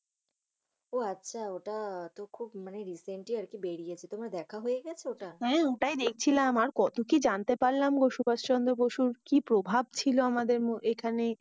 আহ আচ্ছা। ওটা তো খুব মানি Recently আর কি বেরিয়েছে। তোমার দেখা হয়ে গেছে ওটা? হম তাই দেখছিলাম। আর কত কি জানতে পাড়লাম গো সুভাষ চন্দ্র বসুর কি প্রভাব ছিল আমাদের এখানে।